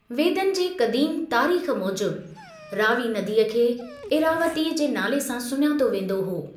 वेदनि जे क़दीम तारीख़ मूजिबि रावी नदीअ खे इरावतीअ जे नाले सां सुञातो वेंदो हो।